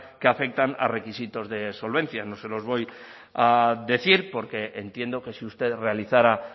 que afectan a requisitos de solvencia no se los voy a decir porque entiendo que si usted realizara